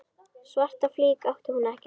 Svarta flík átti hún ekki.